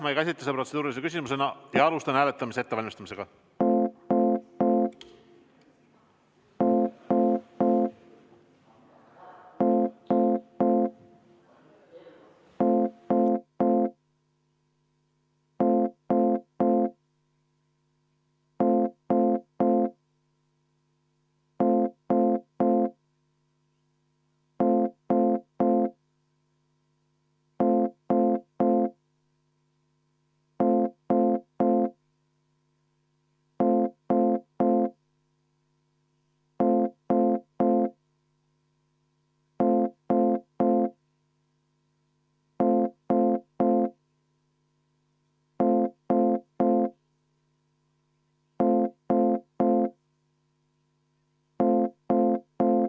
Ma ei käsita seda protseduurilise küsimusena ja alustan hääletamise ettevalmistamist.